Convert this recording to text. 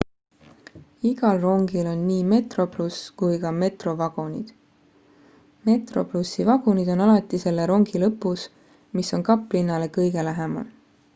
igal rongil on nii metroplus kui ka metro vagunid metroplusi vagunid on alati selle rongi lõpus mis on kaplinnale kõige lähemal